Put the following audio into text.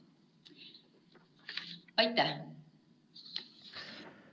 Aitäh!